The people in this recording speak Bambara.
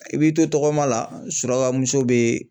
I b'i to tɔgɔma la surakamuso be